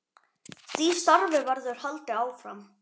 Því starfi verður haldið áfram.